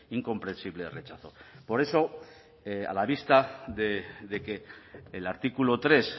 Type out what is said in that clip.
incomprensible rechazo por eso a la vista de que el artículo tres